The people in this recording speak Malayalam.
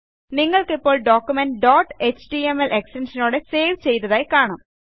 നിങ്ങൾക്കിപ്പോൾ ഡോക്യുമെന്റ് ഡോട്ട് എച്ടിഎംഎൽ ൽ എക്സ്റ്റൻഷനോടെ സേവ് ചെയ്തതായി